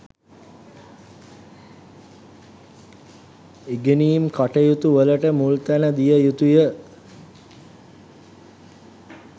ඉගෙනීම් කටයුතු වලට මුල් තැන දිය යුතුය